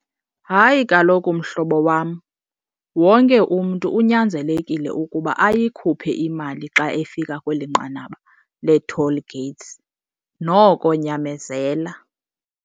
Hayi kaloku mhlobo wam, wonke umntu unyanzelekile ukuba ayikhuphe imali xa efika kweli nqanaba lee-toll gates. Noko nyamezela.